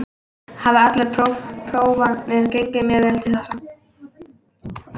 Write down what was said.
Hafa allar prófanir gengið mjög vel til þessa.